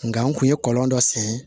Nka n kun ye kɔlɔn dɔ sen